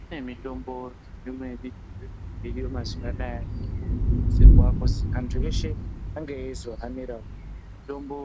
Kune mitombo iriyo mazuwa anaya inokurudzirwa kuti antu eshe ange eizohanirawo tombo